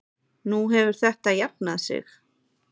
Nú hefur þetta jafnað sig.